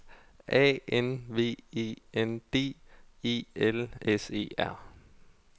A N V E N D E L S E R